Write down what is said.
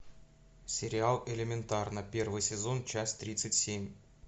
сериал элементарно первый сезон часть тридцать семь